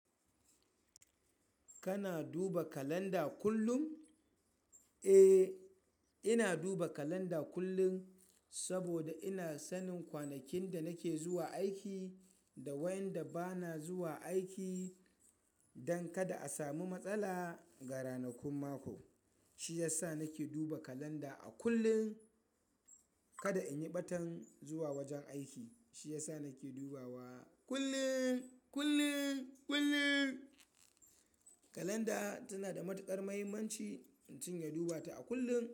Kana duba kalanda kullum? Eh, ina duba kalanda kullum saboda ina sanin kwanakin da nake zuwa aiki da wayanda bana zuwa aiki don kada a samu matsala ga ranakun mako. Shiyasa nake duba kalanda a kullum, kada inyi ɓatan zuwa wajen aiki. Shi ya sa nake dubawa kullum, kullum, kullum. Kalanda tana da matuƙar mahimmanci, in cinye duba ta a kullum.